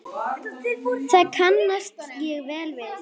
Það kannast ég vel við.